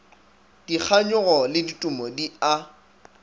dikganyogo le ditumo di a